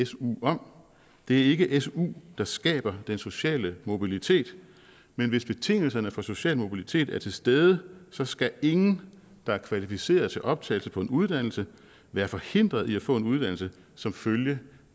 su om det er ikke su der skaber den sociale mobilitet men hvis betingelserne for social mobilitet er til stede så skal ingen der er kvalificeret til optagelse på en uddannelse være forhindret i at få en uddannelse som følge